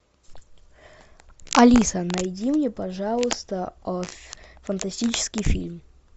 алиса найди мне пожалуйста фантастический фильм